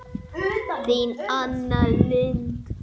Þín Anna Lind.